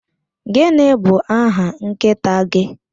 Gịnị bụ aha nkịta gị?